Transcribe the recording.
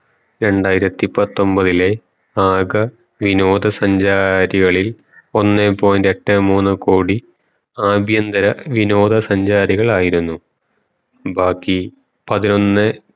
രണ്ടായിരത്തി പത്തൊമ്പതിലെ ആക വിനോദ സഞ്ചാരികളിൽ ഒന്നേ point എട്ടേ മൂന്ന് കോടി ആഭ്യന്തര വിനോദ സഞ്ചാരികളായിരുന്നു ബാക്കി പതിനൊന്നെ